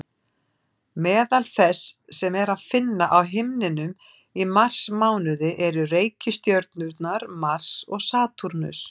Meðal þess sem er að finna á himninum í marsmánuði eru reikistjörnurnar Mars og Satúrnus.